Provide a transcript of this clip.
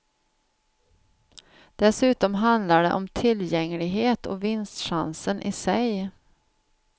Dessutom handlar det om tillgänglighet och vinstchansen i sig.